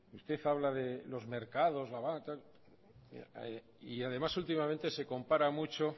usted habla de los mercados la banca tal y además últimamente se compara mucho